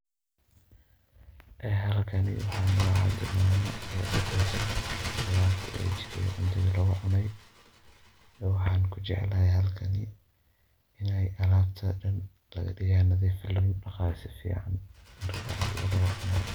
Ee halkani waxa mama u daqeeysoh, alabta oo jeegatha oo cuuney waxan kujeclahay halkan inay ahaytoh beeya nathif lagu daqaayo marki cuntaha lagu cuunoh